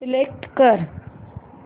select कर